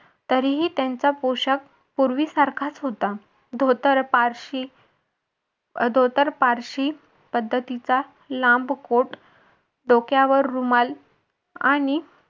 तरीही त्यांचा पोशाख पूर्वीसारखाच होता धोतर पारशी धोतर पारशी पद्धतीचा लांब कोट डोक्यावर रुमाल आणि